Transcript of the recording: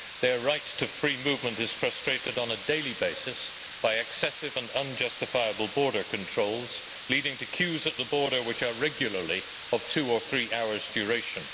Their right to free movement is frustrated on a daily basis by excessive and unjustifiable border controls, leading to queues at the border which are regularly of two or three hours' duration.